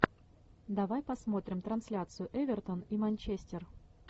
давай посмотрим трансляцию эвертон и манчестер